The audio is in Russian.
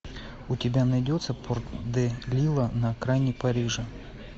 у тебя найдется порт де лила на окраине парижа